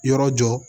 Yɔrɔ jɔ